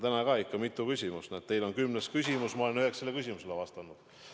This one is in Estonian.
Täna on olnud mitu küsimust, näete, teil on kümnes küsimus, ma olen üheksale juba vastanud.